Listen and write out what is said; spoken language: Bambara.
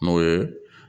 Mun ye